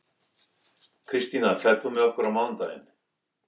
Kristína, ferð þú með okkur á mánudaginn?